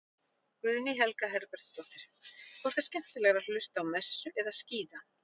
Guðný Helga Herbertsdóttir: Hvort er skemmtilegra að hlusta á messu eða skíða?